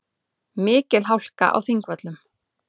Mikil hálka á Þingvöllum